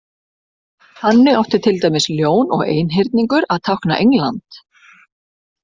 Þannig átti til dæmis Ljón og Einhyrningur að tákna England.